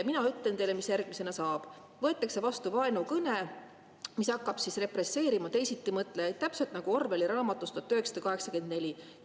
Mina ütlen teile, mis järgmisena saab: võetakse vastu vaenukõne, mis hakkab represseerima teisitimõtlejaid, täpselt nagu Orwelli raamatus "1984".